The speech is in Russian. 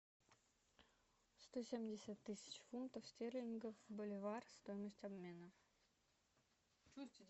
сто семьдесят тысяч фунтов стерлингов боливар стоимость обмена